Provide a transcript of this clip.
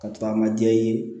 Ka to an ka jɛ ye